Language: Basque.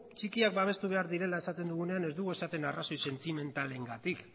txikiak babestu behar direla esaten dugunean ez dugu esaten arrazoi sentimentalengatik